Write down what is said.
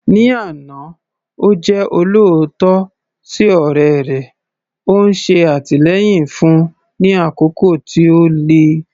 Ní àná, ó jẹ́ olóòótọ́ sí ọ̀rẹ́ rẹ̀, ó ń ṣe àtìlẹ́yìn fún un ní àkókò tí ó le.